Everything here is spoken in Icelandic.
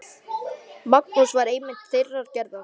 Magnús var einmitt þeirrar gerðar.